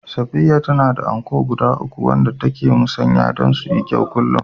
Safiya tana da anko guda uku wanda take musanya don su yi kyau kullum